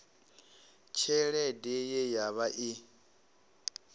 tshelede ye ya vha i